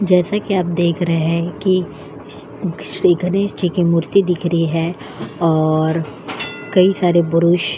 जैसा कि आप देख रहे हैं कि श्री गणेश जी की मूर्ति दिख रही है और कई सारे पुरुष --